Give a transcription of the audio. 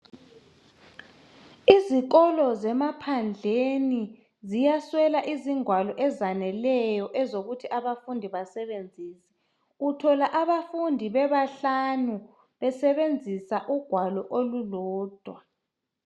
Izikolo zemaphandleni ziyaswela izingwalo ezaneleyo ezokuthi abafundi basebenzisa . Uthola abafundi bebahlanu besebenzisa ugwalo olulodwa.